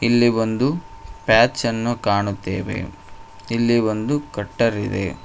ಇಲ್ಲಿ ಒಂದು ಪ್ಯಾಚನ್ನು ಕಾಣುತ್ತೇವೆ ಇಲ್ಲಿ ಒಂದು ಕಟ್ಟರ್ ಇದೆ.